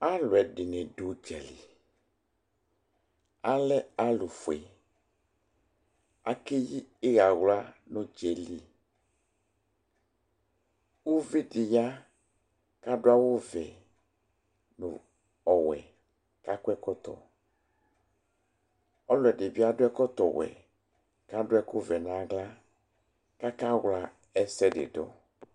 Alʊɛdiɲi du ʊdzal Alɛ alʊƒue Akeƴi iɣawla ɲu udzali Uvɩdi ya kadu awuvɛ ɲu ɔwɛ kakɔ ɛkɔtɔ, ɔlʊɛdibi adu ɛkɔtɔ wɛ kadu ɛkuvɛ ɲaɣla kakawla ɛsɛdidʊ